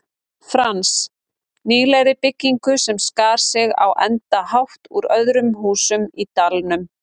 Frans, nýlegri byggingu sem skar sig á engan hátt úr öðrum húsum í dalnum.